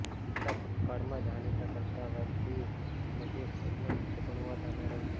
પિતા ભૂતકાળમાં જાણીતા કરતાં વાજબી કિંમતે સ્કૂલનું ઉચ્ચ ગુણવત્તા મેળવશે